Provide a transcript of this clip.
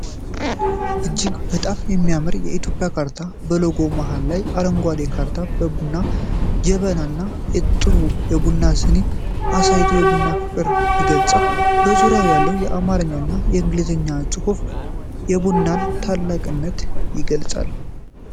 እጅግ በጣም የሚያምር የኢትዮጵያ ካርታ በሎጎው መሃል ላይ፣ አረንጓዴው ካርታ የቡና ጀበና እና ጥሩ የቡና ስኒ አሳይቶ የቡናን ፍቅር ይገልጻል። በዙሪያው ያለው የአማርኛና የእንግሊዝኛ ጽሁፍ የቡናን ታላቅነት ይገልጻል።